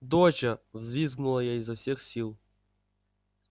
доча взвизгнула я изо всех сил